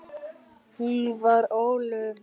Hún var ólofuð.